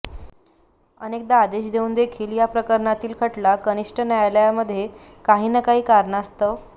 अनेकदा आदेश देऊनदेखील या प्रकरणातील खटला कनिष्ठ न्यायालयामध्ये काही न काही कारणास्तव